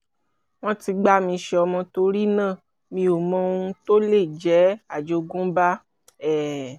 wọ́n ti gbà mí ṣọmọ torí náà mi ò mọ ohun tó lè jẹ́ àjogúnbá um